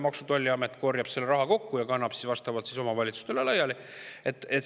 Maksu‑ ja Tolliamet korjab selle raha kokku ja kannab siis omavalitsustele laiali.